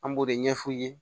An b'o de ɲɛf'u ye